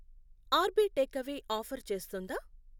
RB take away offer చేస్తుందా?